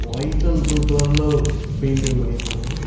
White and blue கலர்ல painting பண்ணிருக்காங்க.